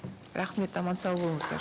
рахмет аман сау болыңыздар